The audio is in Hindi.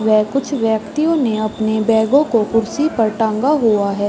व कुछ व्यक्तियों ने अपने बैगों को कुर्सी पर टांगा हुआ हैं।